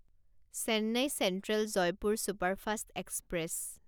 Chennai central Jaipur superfast express